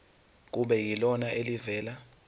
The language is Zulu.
kube yilona elivela